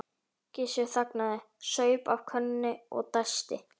Gissur þagnaði, saup af könnunni og dæsti.